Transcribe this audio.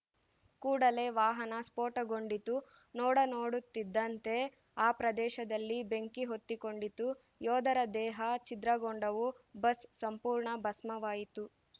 ಕೂಡಲೇ ವಾಹನ ಸ್ಫೋಟಗೊಂಡಿತು ನೋಡನೋಡುತ್ತಿದ್ದಂತೆ ಆ ಪ್ರದೇಶದಲ್ಲಿ ಬೆಂಕಿ ಹೊತ್ತಿಕೊಂಡಿತು ಯೋಧರ ದೇಹ ಛಿದ್ರಗೊಂಡವು ಬಸ್‌ ಸಂಪೂರ್ಣ ಭಸ್ಮವಾಯಿತು